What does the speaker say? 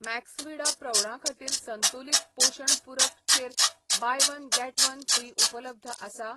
Maxvida प्रौढां खातीर संतुलित पोशण पूरक चेर 'buy one get one free' उपलब्ध आसा ?